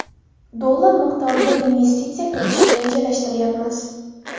dollar miqdorida investitsiya kiritishni rejalashtiryapmiz.